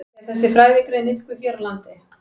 Er þessi fræðigrein iðkuð hér á landi?